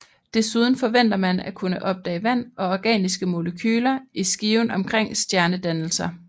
Desuden forventer man at kunne opdage vand og organiske molekyler i skiven omkring stjernedannelser